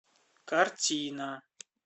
картина